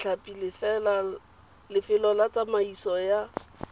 ditlhapi lefelo la tsamaiso ya